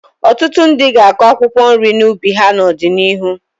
Ọtụtụ ndị ga-akụ akwụkwọ nri n'ubi ha n'ọdịnihu